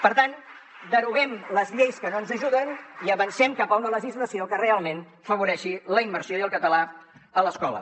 per tant deroguem les lleis que no ens ajuden i avancem cap a una legislació que realment afavoreixi la immersió i el català a l’escola